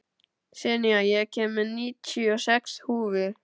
Senía, ég kom með níutíu og sex húfur!